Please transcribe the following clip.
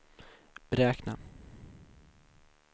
beräkna